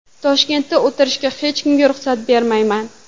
Toshkentda o‘tirishga hech kimga ruxsat bermayman.